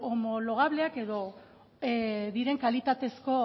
homologableak diren kalitatezko